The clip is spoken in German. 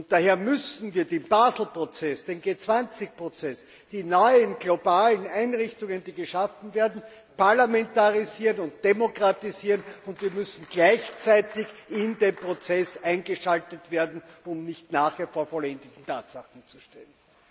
Daher müssen wir den Basel Prozess, den G 20 Prozess, die neuen globalen Einrichtungen, die geschaffen werden, parlamentarisieren und demokratisieren, und wir müssen gleichzeitig in den Prozess eingeschaltet werden, um nicht nachher vor vollendeten Tatsachen zu stehen.